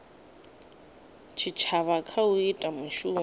tshitshavha kha u ita mishumo